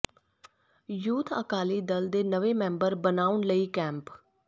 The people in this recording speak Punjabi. ਯੂਥ ਅਕਾਲੀ ਦਲ ਦੇ ਨਵੇਂ ਮੈਂਬਰ ਬਣਾਉਣ ਲਈ ਕੈਂਪ